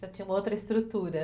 Já tinha uma outra estrutura.